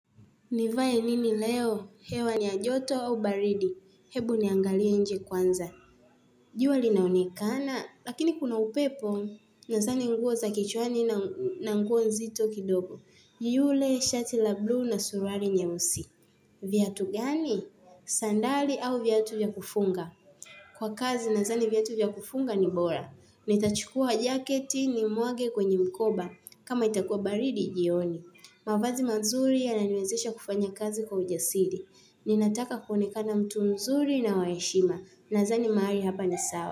Nivae nini leo? Hewa ni ya joto au baridi. Hebu niangalie nje kwanza. Jua linaonekana, lakini kuna upepo, nazani nguo za kichwani na nguo nzito kidogo. Yule, shati la blue na suruari nyeusi. Viatu gani? Sandali au viatu vya kufunga. Kwa kazi, nazani viatu vya kufunga ni bora. Nitachukua jaketi ni mwage kwenye mkoba. Kama itakua baridi, jioni. Mavazi mazuri yananiwezesha kufanya kazi kwa ujasiri. Ninataka kuonekana mtu mzuri na waheshima. Nazani maari hapa ni sawa.